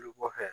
Lu bɔ